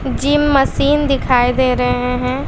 Gym machine दिखाई दे रहे हैं।